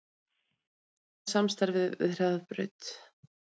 Mun endurskoða samstarfið við Hraðbraut